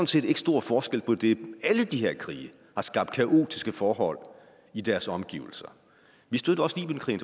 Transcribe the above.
set ikke stor forskel på det alle de her krige har skabt kaotiske forhold i deres omgivelser vi støttede også libyenkrigen